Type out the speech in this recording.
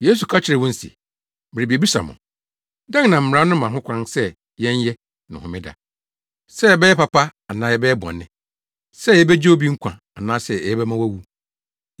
Yesu ka kyerɛɛ wɔn se, “Merebisa mo. Dɛn na mmara no ma ho kwan sɛ yɛnyɛ no Homeda; sɛ yɛbɛyɛ papa anaa yɛbɛyɛ bɔne, sɛ yebegye obi nkwa anaasɛ yɛbɛma wawu?”